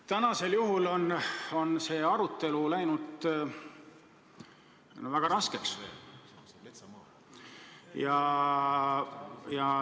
Tänasel juhul on see arutelu läinud väga raskeks.